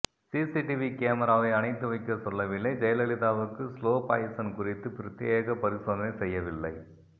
CCTV கேமராவை அணைத்து வைக்க சொல்லவில்லை ஜெயலலிதாவுக்கு ஸ்லோ பாய்சன் குறித்து பிரத்யேக பரிசோதனை செய்யவில்லை